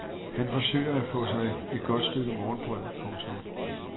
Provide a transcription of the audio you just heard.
Han forsøger at få sig et stykke godt morgenbrød. punktum